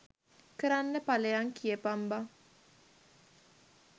කරන්න පලයන් කියපන් බං.